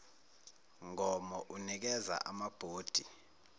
mgomo unikeza amabhodi